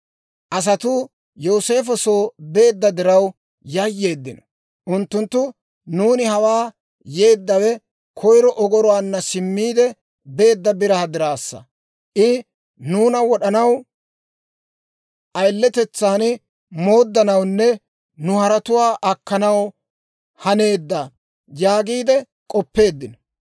Asatuu Yooseefo soo beedda diraw, yayyeeddino; unttunttu, «Nuuni hawaa yeeddawe koyro ogoruwaanna simmiide beedda biraa diraassa; I nuuna wad'd'anaw, ayiletetsaan mooddanawunne nu haretuwaa akkanaw haneedda» yaagiide k'oppeeddino.